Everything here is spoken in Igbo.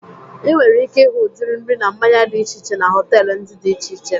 I nwere ike ịhụ udiri nri na mmanya dị iche iche na họtelu ndịa dị iche iche